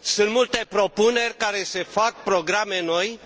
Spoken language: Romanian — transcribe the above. Sunt multe propuneri care se fac, programe noi,